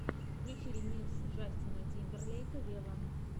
включи ремикс джастина тимберлейка вево